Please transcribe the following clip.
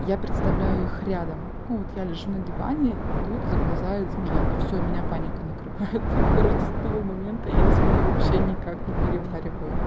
я представляю их рядом ну вот я лежу на диване и тут заползает змея и всё меня паника накрывает хи-хи короче с того момента я змей вообще никак не перевариваю